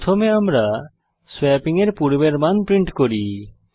প্রথমে আমরা সোয়াপিং এর পূর্বের মান প্রিন্ট করি